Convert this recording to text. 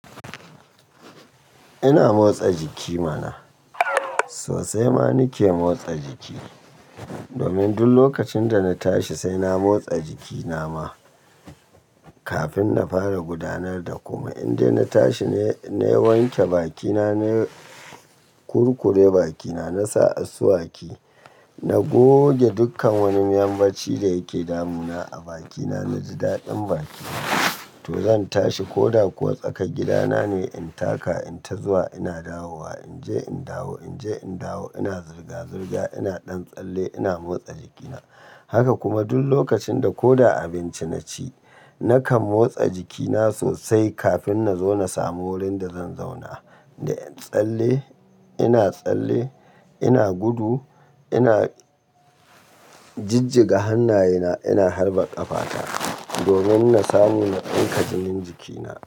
Ina motsa jiki mana, sosai ma nake motsa jiki. Domin duk lokacin da na tashi sai na motsa jiki na ma, kafin na fara gudanar da kumai indai na tashi nayi wanke bakina, na kurkure bakina, na sa asuwaki, na goge dukkan wani miyan bacci da yake damuna a bakina, na ji daɗin baki. To zan tashi ko da kuwa tsakar gidana ne in taka, in ta zuwa ina dawowa, in je in dawo, in je in dawo, ina zirga-zirga, ina ɗan tsalle, ina motsa jikina. Haka kuma duk lokacin da ko da abinci na ci, na kan motsa jikina sosai kafin na zo na samu wurin da zan zauna. Da tsalle ina tsalle, ina gudu, ina jijjiga hannayena, ina harba ƙafata, domin na samu na tsinka jinin jikina.